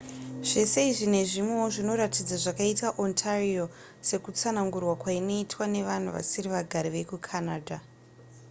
zvese izvi nezvimwewo zvinoratidza zvakaita ontario sekutsanangurwa kwainoitwa nevanhu vasiri vagari vekucanada